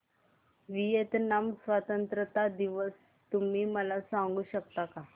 Vietnam स्वतंत्रता दिवस तुम्ही मला सांगू शकता का